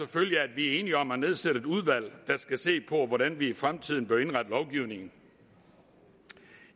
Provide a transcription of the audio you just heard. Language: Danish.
at vi er enige om at nedsætte et udvalg der skal se på hvordan vi i fremtiden bør indrette lovgivningen